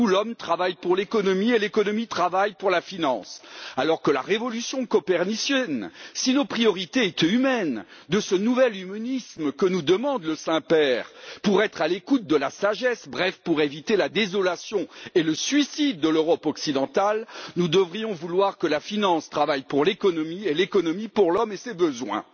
Chez nous, l'homme travaille pour l'économie et l'économie travaille pour la finance, alors qu'avec la révolution copernicienne si nos priorités étaient humaines de ce nouvel humanisme que nous demande le Saint Père pour être à l'écoute de la sagesse, bref pour éviter la désolation et le suicide de l'Europe occidentale, nous devrions vouloir que la finance travaille pour l'économie et l'économie pour l'homme et ses besoins.